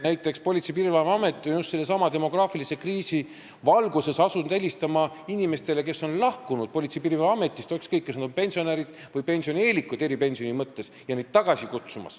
Näiteks on Politsei- ja Piirivalveamet just sellesama demograafilise kriisi valguses asunud helistama inimestele, kes on Politsei- ja Piirivalveametist lahkunud, ükskõik, kas nad on pensionärid või pensionieelikud eripensioni mõttes, et neid tagasi kutsuda.